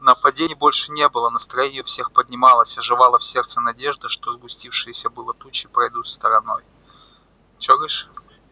нападений больше не было настроение у всех поднималось оживала в сердце надежда что сгустившиеся было тучи пройдут стороной что говоришь